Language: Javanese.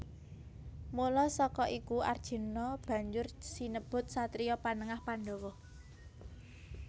Mula saka iku Arjuna banjur sinebut satriya Panengah Pandhawa